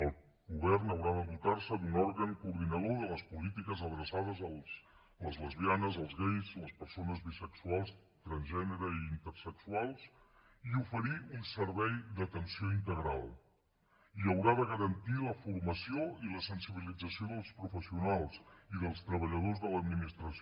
el govern haurà de dotar se d’un òrgan coordinador de les polítiques adreçades a les lesbianes els gais les persones bisexuals transgènere i intersexuals i oferir un servei d’atenció integral i haurà de garantir la formació i la sensibilització dels professionals i dels treballadors de l’administració